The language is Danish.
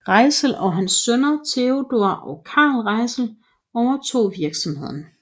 Reitzel og hans sønner Theodor og Carl Reitzel overtog virksomheden